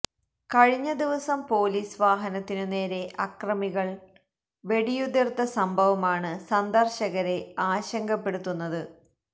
കഴിഞ്ഞ ദിവസം പൊലിസ് വാഹനത്തിനു നേരെ അക്രമികള് വെടിയുതിര്ത്ത സംഭവമാണ് സന്ദര്ശകരെ ആശങ്കപ്പെടുത്തുന്നത്